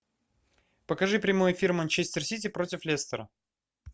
покажи прямой эфир манчестер сити против лестера